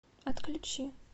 отключи